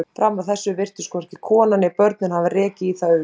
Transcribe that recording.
Fram að þessu virtust hvorki konan né börnin hafa rekið í það augun.